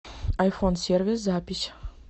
айфонсервис запись